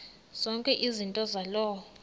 zonke izinto zaloo